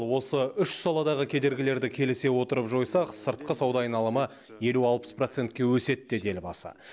осы үш саладағы кедергілерді келісе отырып жойсақ сыртқы сауда айналымы елу алпыс процентке өседі деді елбасы